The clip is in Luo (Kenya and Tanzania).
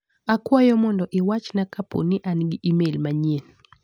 Akwayo mondo iwachna ka poni an gi imel manyien.